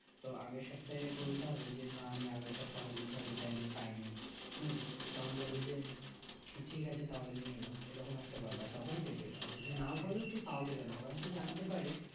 তো আগের সপ্তাহে বলতে হবে যে না আমি আগের সপ্তাহে আমার link হয় নি তাই আমি পাইনি হুম তখন বলবে যে ঠিক আছে তাহলে নিয়েনাও এরকম একটা ব্যাপার তবে দিবে আর যদি নাও বোলো তো তও দিবেনা োর যদি জানতে পারে